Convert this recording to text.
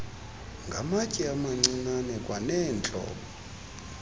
ngamatye amancinane kwaneentlobo